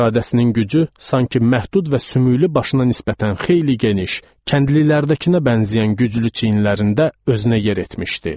İradəsinin gücü sanki məhdud və sümüklü başına nisbətən xeyli geniş, kəndlilərdəkinə bənzəyən güclü çiyinlərində özünə yer etmişdi.